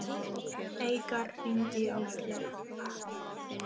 Eikar, hringdu í Ásleif.